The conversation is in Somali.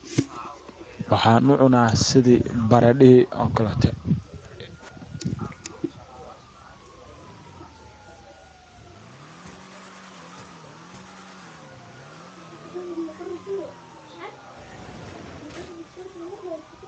waxaan u cunaa sidi baradha hii ookaleto